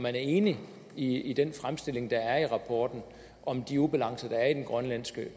er enig i i den fremstilling der er i rapporten om de ubalancer der er i den grønlandske